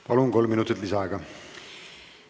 Palun, kolm minutit lisaaega!